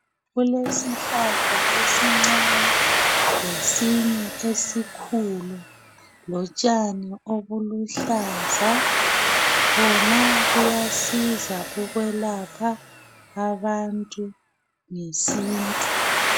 Kulesihlahla esincane lesinye esikhulu kotshani obuluhlaza khona kuyasiza ukwelapha abantu ngesintu